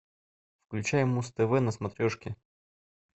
включай муз тв на смотрешке